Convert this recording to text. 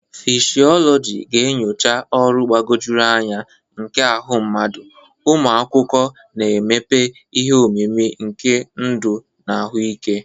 Ngalaba fishiologi ga-enyocha ọrụ mgbagwoju anya nke ahụ mmadụ, ụmụ akwụkwọ na-emepe ihe omimi nke ndụ na ahụike.